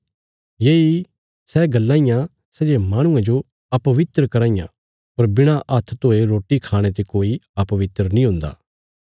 येई सै गल्लां इयां सै जे माहणुये जो अपवित्र कराँ इयां पर बिणा हात्थ धोये रोटी खाणे ते कोई अपवित्र नीं हुन्दा